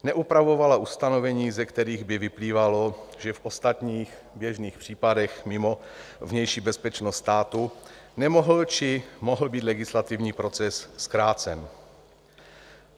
Neupravovala ustanovení, ze kterých by vyplývalo, že v ostatních, běžných případech mimo vnější bezpečnost státu nemohl či mohl být legislativní proces zkrácen.